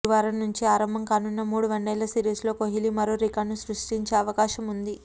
గురువారం నుంచి ఆరంభం కానున్న మూడు వన్డేల సిరీస్లో కోహ్లి మరో రికార్డును సృష్టించే అవకాశం ఉంది